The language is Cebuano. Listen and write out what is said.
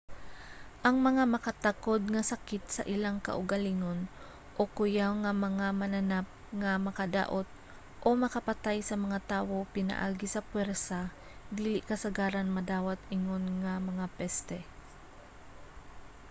ang mga makatakod nga sakit sa ilang kaugalingon o kuyaw nga mga mananap nga makadaot o makapatay sa mga tawo pinaagi sa pwersa dili kasagaran madawat ingon nga mga peste